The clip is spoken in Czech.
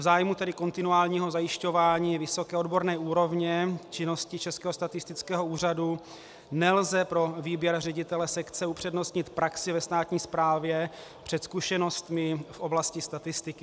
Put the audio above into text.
V zájmu tedy kontinuálního zajišťování vysoké odborné úrovně činnosti Českého statistického úřadu nelze pro výběr ředitele sekce upřednostnit praxi ve státní správě před zkušenostmi v oblasti statistiky.